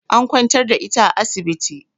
An kwantar da ita a asibiti